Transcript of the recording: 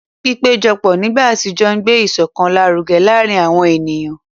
Pípéjọpọ̀ nígbà àtijọ́ ń gbé ìṣọ̀kan lárugẹ láàárín àwọn ènìyàn.